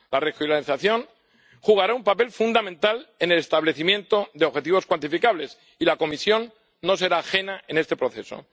La regionalización desempeñará un papel fundamental en el establecimiento de objetivos cuantificables y la Comisión no será ajena en este proceso.